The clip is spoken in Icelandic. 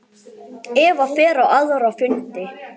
Eva fer á aðra fundi.